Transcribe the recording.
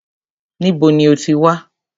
Níbo ní o ti wá?